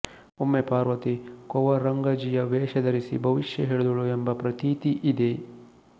ಒಮ್ಮೆ ಪಾರ್ವತಿ ಕೊವರಂಗಜಿಯ ವೇಷ ಧರಿಸಿ ಭವಿಷ್ಯ ಹೇಳಿದಳು ಎಂಬ ಪ್ರತೀತಿ ಇದೆ